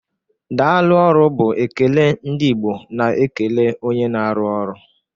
Daalụ ọrụ bụ ekele ndị Igbo na-ekele onye na-arụ ọrụ.